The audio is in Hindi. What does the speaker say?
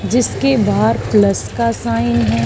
जिसके बाहर प्लस का साइन है।